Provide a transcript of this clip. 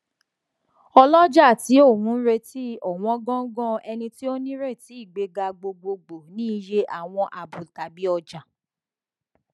olọjà tí oun retí ọwọn góńgó ẹni tí ó nírètí ìgbéga gbogbogbò ní iye àwọn àábò tàbí ọjà